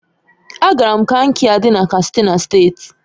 Agara m Kankia di na Katsina State